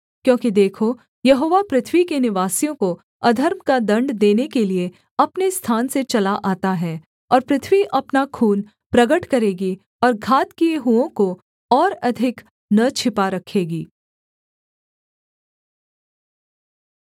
क्योंकि देखो यहोवा पृथ्वी के निवासियों को अधर्म का दण्ड देने के लिये अपने स्थान से चला आता है और पृथ्वी अपना खून प्रगट करेगी और घात किए हुओं को और अधिक न छिपा रखेगी